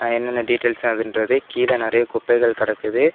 என்னென்ன டீடைல்ஸ் கீழ நெறைய குப்பைள் கெடக்குது.